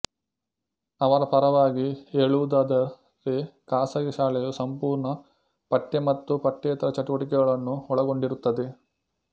ಅವರ ಪರವಾಗಿ ಹೇಳುವುದಾದರೆಖಾಸಗಿ ಶಾಲೆಯು ಸಂಪೂರ್ಣ ಪಠ್ಯ ಮತ್ತು ಪಠ್ಯೇತರ ಚಟುವಟಿಕೆಗಳನ್ನು ಒಳಗೊಂಡಿರುತ್ತದೆ